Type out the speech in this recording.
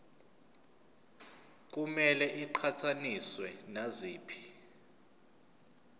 kumele iqhathaniswe naziphi